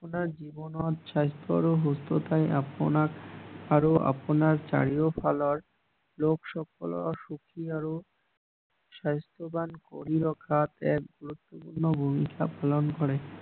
আপোনাৰ জীৱনৰ স্বাস্থ্য আৰু সুস্থতাৰ আপোনাক আৰু আপোনাৰ চাৰিও ফালৰ লোক সকলৰ সুখী আৰু স্বাস্থ্যৱান কৰি ৰখাত এক গুৰুত্বপূৰ্ণ ভূমিকা পালন কৰে